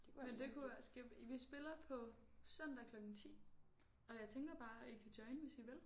Men det kunne skal vi spiller på søndag klokken 10 og jeg tænker bare I kan joine hvis I vil